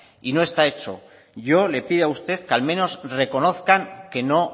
y no está hecho yo le pido a usted que al menos reconozcan que no